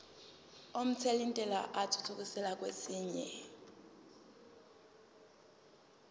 omthelintela athuthukiselwa kwesinye